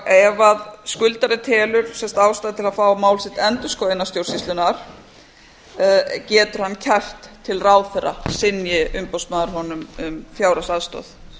ef skuldari telur ástæðu til að fá mál sitt endurskoðað innan stjórnsýslunnar getur hann kært til ráðherra synji umboðsmaður honum um fjárhagsaðstoð